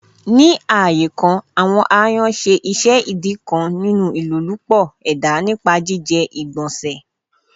Ni aaye kan, awọn ayan ṣe iṣẹ idi kan ninu ilolupo eda nipa jijẹ igbanse.